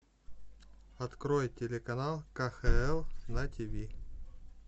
открой телеканал кхл на тиви